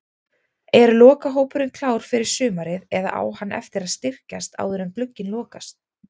Er lokahópurinn klár fyrir sumarið eða á hann eftir að styrkjast áður en glugginn lokast?